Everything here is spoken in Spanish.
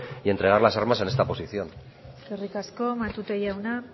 y entregar las armas en esta posición eskerrik asko matute jauna